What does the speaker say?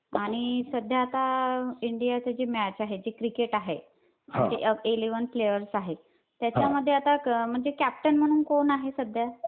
आणि सध्या आता इंडियाची जी मॅच आहे ती क्रिकेट आहे. म्हणजे इलेव्हन प्लेयर्स आहेत. त्याच्यामध्ये आता कॅप्टन म्हणून कोण आहे सध्या?